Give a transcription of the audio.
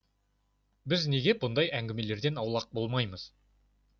біз неге мұндай әңгімелерден аулақ болмаймыз